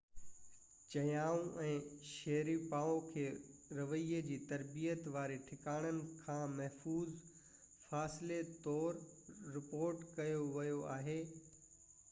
چيايو ۽ شيريپوو کي رويي جي ترتيب واري ٺڪاڻن کان محفوظ فاصلي طور رپورٽ ڪيو ويو آهي